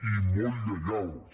i molt lleials